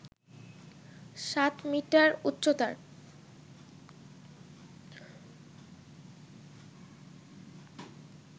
সাত মিটার উচ্চতার